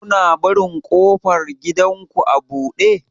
Kuna barin ƙofar gidanku a buɗe?